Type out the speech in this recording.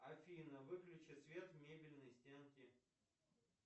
афина выключи свет в мебельной стенке